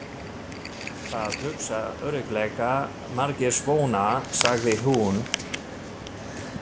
Það hugsa örugglega margir svona, sagði hún.